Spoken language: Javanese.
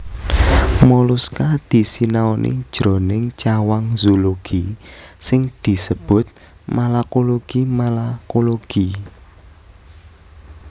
Moluska disinaoni jroning cawang zoologi sing disebut malakologi malacology